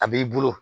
A b'i bolo